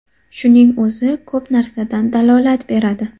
Shuning o‘zi, ko‘p narsadan dalolat beradi.